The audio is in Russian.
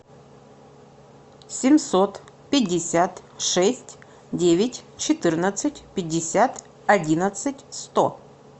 семьсот пятьдесят шесть девять четырнадцать пятьдесят одиннадцать сто